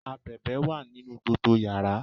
abebe wá nínú Gbogbo yàrá